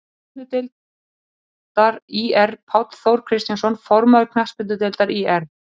Knattspyrnudeildar ÍR Páll Þór Kristjánsson, formaður Knattspyrnudeildar ÍR